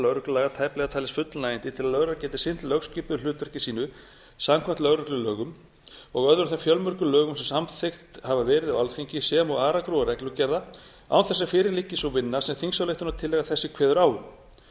lögreglulaga tæplega talist fullnægjandi til að lögregla geti sinnt lögskipuðu hlutverki sínu samkvæmt lögreglulögum og öðrum þeim fjölmörgu lögum sem samþykkt hafa verið á alþingi sem og aragrúa reglugerða án þess að fyrir liggi sú vinna sem þingsályktunartillaga þessi kveður á um